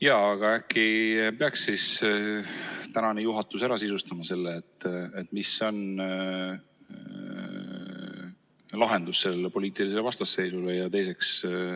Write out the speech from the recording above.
Jaa, aga äkki peaks siis praegune juhatus ära sisustama, mis on lahendus sellele poliitilisele vastasseisule?